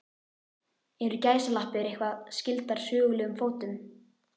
Eru gæsalappir eitthvað skyldar sögulegum fótum?